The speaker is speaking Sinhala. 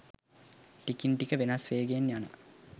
ටිකින් ටික වෙනස් වේගෙන යන